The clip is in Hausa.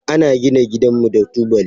Ana gina gidanmu da tubali.